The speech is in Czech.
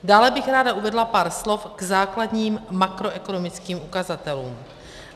Dále bych ráda uvedla pár slov k základním makroekonomickým ukazatelům.